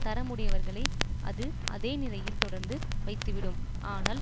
தரமுடையவர்களை அது அதே நிலையில் தொடர்ந்து வைத்துவிடும் ஆனால்